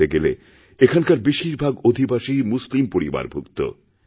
বলতে গেলে এখানকার বেশির ভাগ অধিবাসী মুসলিম পরিবারভুক্ত